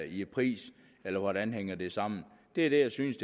i pris eller hvordan hænger det sammen det er det jeg synes